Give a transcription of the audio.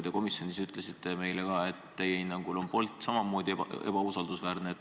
Te komisjonis ütlesite meile, et teie hinnangul on Bolt samamoodi ebausaldusväärne.